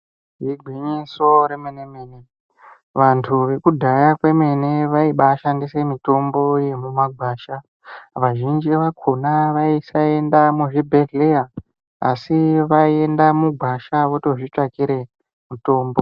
Igwinyiso remene-mene, vantu vekudhaya kwemene vaibashandisa mitombo yemumagwasha. Vazhinji vakhona vaisaenda muzvibhehleya asi vaienda mugwasha votozvitsvakire mutombo.